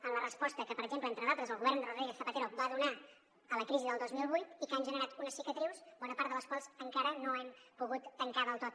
en la resposta que per exemple entre d’altres el govern de rodríguez zapatero va donar a la crisi del dos mil vuit i que ha generat unes cicatrius bona part de les quals encara no hem pogut tancar del tot